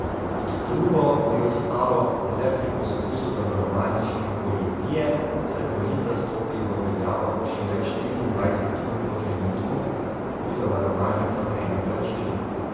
Kot drugo, bi ostalo le pri poskusu zavarovalniške goljufije, saj polica stopi v veljavo šele štiriindvajset ur po trenutku, ko zavarovalnica prejme plačilo.